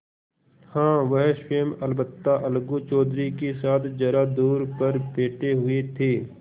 हाँ वह स्वयं अलबत्ता अलगू चौधरी के साथ जरा दूर पर बैठे हुए थे